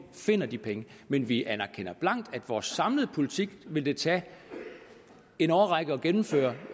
finder de penge men vi anerkender blankt at vores samlede politik vil det tage en årrække at gennemføre